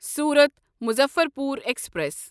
صورت مظفرپور ایکسپریس